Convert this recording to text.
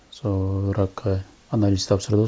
сол ракқа анализ тапсырды